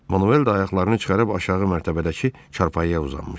Manuel də ayaqlarını çıxarıb aşağı mərtəbədəki çarpayıya uzanmışdı.